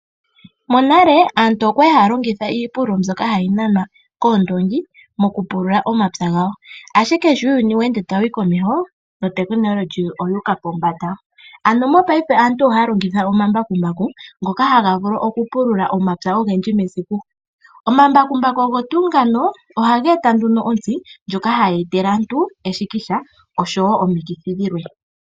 Monale aantu oyali haya longitha iipululo mbyoka hayi nanwa koondongi ashike paife uuyuni sho tawu humu komeho notekinolohi oyuuka pombanda. Mopaife aantu ohaya longitha omambakumbaku ngoka haga vulu okupula omapya ogendji mesiku. Omambakumbaku ogo tuu ngano ohaga etele aantu omikithi.